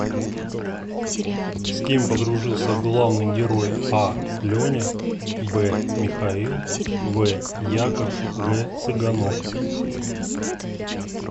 с кем подружился главный герой а леня б михаил в яков г цыганок